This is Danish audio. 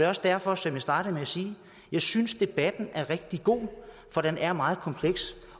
også derfor som jeg startede med at sige at jeg synes debatten er rigtig god for den er meget kompleks